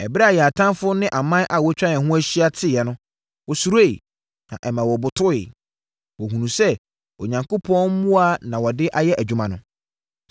Ɛberɛ a yɛn atamfoɔ ne aman a wɔatwa yɛn ho ahyia teeɛ no, wɔsuroeɛ, na ɛma wɔbotoeɛ. Wɔhunuu sɛ Onyankopɔn mmoa na wɔde ayɛ adwuma no.